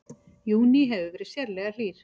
Júní hefur verið sérlega hlýr